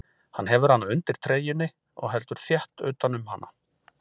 Hann hefur hana undir treyjunni og heldur þétt utan um hana.